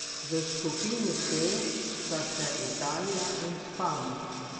V skupini C sta še Italija in Španija.